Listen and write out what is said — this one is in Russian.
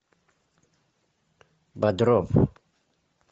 бодров